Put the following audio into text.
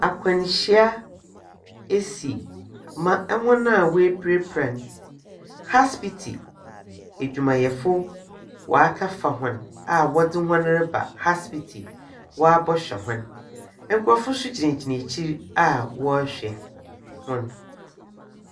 Akwanhyia esi ma hɔn a apirapira no aspiti adwumayɛfo woakɔ fa hɔn a wɔde hɔn reba aspiti woabɛhwɛ hɔn. Nkorɔfo nso gyinagyina akyire a hɔn hwɛ hɔn.